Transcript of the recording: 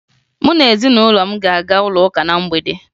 Mụ na ezinụlọ m ga-aga ụlọụka na mgbede